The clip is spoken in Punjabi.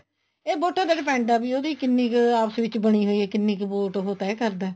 ਇਹ ਵੋਟਾ ਤੇ depend ਆ ਵੀ ਉਹਦੀ ਕਿੰਨੀ ਕ਼ ਆਪਸ ਵਿੱਚ ਬਣੀ ਹੋਈ ਹੈ ਕਿੰਨੀ ਕ਼ vote ਉਹ ਤੇਅ ਕਰਦਾ ਹੈ